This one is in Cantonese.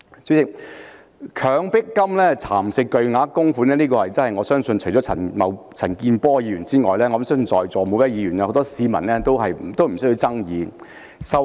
主席，"強迫金"蠶食巨額供款，我相信除了陳健波議員外，在座每位議員和很多市民對此都沒有爭議。